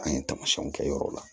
An ye tamasiyɛnw kɛ yɔrɔw la